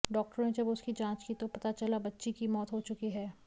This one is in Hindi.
डॉक्टरों ने जब उसकी जांच की तो पता चला बच्ची की मौत हो चुकी है